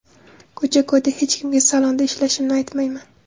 Ko‘cha-ko‘yda hech kimga salonda ishlashimni aytmayman.